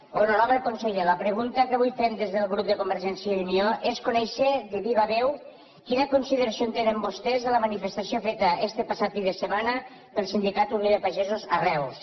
honorable conseller la pregunta que avui fem des del grup de convergència i unió és conèixer de viva veu quina consideració tenen vostès de la manifestació feta este passat fi de setmana pel sindicat unió de pagesos a reus